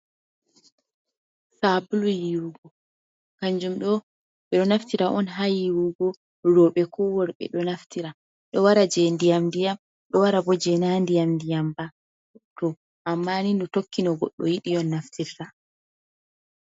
Sabulu yiwugo, kanjum ɗo ɓe ɗo naftira on ha yiwugo. Roobe ko worɓe ɗo naftira. Ɗo wara jei ndiyam-ndiyam ɗo wara bo jei na ndiyam-ndiyam ba. To amma nin ɗo tokki no goddo yidi on naftirta.